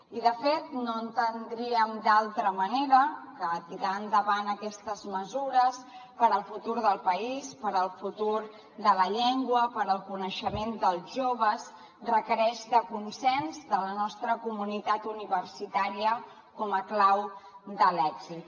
i de fet no ho entendríem d’altra manera que tirar endavant aquestes mesures pel futur del país pel futur de la llengua pel coneixement dels joves requereix consens de la nostra comunitat universitària com a clau de l’èxit